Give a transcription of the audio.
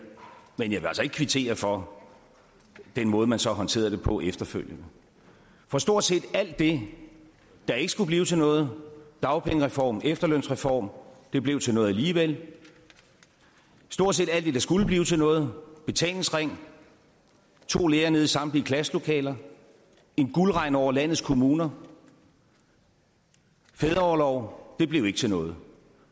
men jeg vil altså ikke kvittere for den måde man så håndterede det på efterfølgende for stort set alt det der ikke skulle blive til noget dagpengereform og efterlønsreform blev til noget alligevel stort set alt det der skulle blive til noget betalingsring to lærere i samtlige klasselokaler en guldregn over landets kommuner og fædreorlov blev ikke til noget